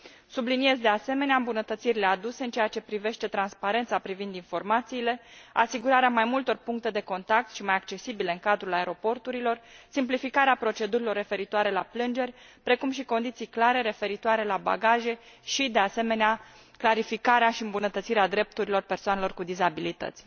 Subliniez, de asemenea, îmbunătățirile aduse în ceea ce privește transparența privind informațiile, asigurarea mai multor puncte de contact mai accesibile în cadrul aeroporturilor, simplificarea procedurilor referitoare la plângeri, precum și condiții clare referitoare la bagaje și, de asemenea, clarificarea și îmbunătățirea drepturilor persoanelor cu dizabilități.